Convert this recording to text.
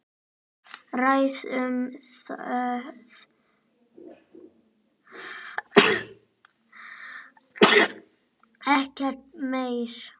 Ræðum það ekki meir.